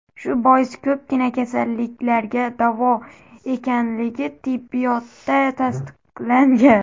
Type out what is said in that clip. Shu bois, ko‘pgina kasalliklarga davo ekanligi tibbiyotda tasdiqlangan.